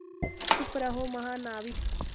चुप रहो महानाविक